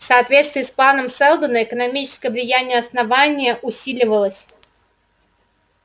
в соответствии с планом сэлдона экономическое влияние основания усиливалось